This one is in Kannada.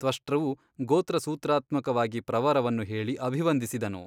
ತ್ವಷ್ಟೃವು ಗೋತ್ರಸೂತ್ರಾತ್ಮಕವಾಗಿ ಪ್ರವರವನ್ನು ಹೇಳಿ ಅಭಿವಂದಿಸಿದನು.